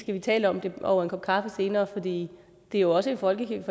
tale om det over en kop kaffe senere for det er jo også en folkekirke